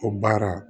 O baara